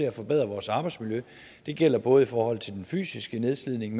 at forbedre vores arbejdsmiljø det gælder både i forhold til den fysiske nedslidning